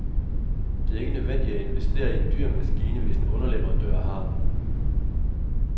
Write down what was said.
Det er ikke nødvendigt at investere i en dyr maskine, hvis en underleverandør har den.